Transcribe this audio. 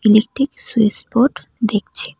একটি switch board দেখছি।